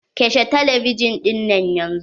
"kashe talebijin dinan yanzu".